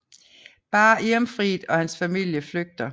Bare Irminfrid og hans familie flygter